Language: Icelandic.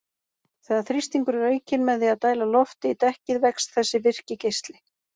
Þegar þrýstingur er aukinn með því að dæla lofti í dekkið vex þessi virki geisli.